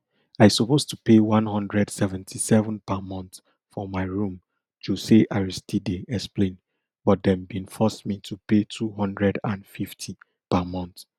i suppose to pay one hundred seventy-seven per month for my room jose aristide explain but dem bin force me to pay two hundred and fifty per month